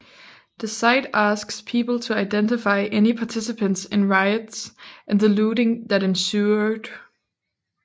The site asks people to identify any participants in riots and the looting that ensued